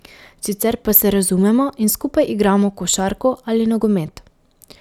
Sicer pa se razumemo in skupaj igramo košarko ali nogomet.